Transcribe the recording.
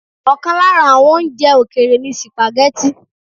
Ọ̀kan lára àwọn oúnjẹ òkèèrè ni sìpàgẹ́tì.